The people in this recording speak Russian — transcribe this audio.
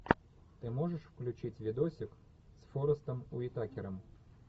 ты можешь включить видосик с форестом уитакером